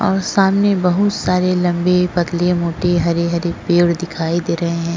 और सामने बहुत सारे लंबी पतली मोटी हरी हरी पेड दिखायी दे रहे है।